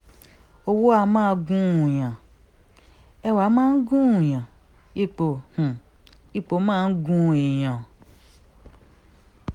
owó á máa gùn-ún-yàn ẹwà máa ń gùn-ún-yàn ipò um ipò máa ń gún èèyàn